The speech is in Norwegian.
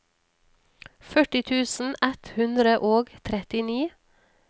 førti tusen ett hundre og trettini